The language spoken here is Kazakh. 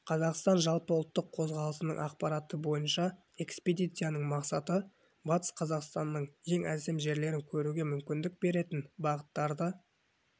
қазақстан жалпыұлттық қозғалысының ақпараты бойынша экспедицияның мақсаты батыс қазақстанның ең әсем жерлерін көруге мүмкіндік беретін бағыттарды